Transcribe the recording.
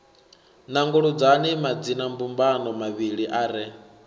nanguludzani madzinambumbano mavhili a re